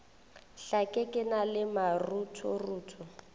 hlake ke na le maruthorutho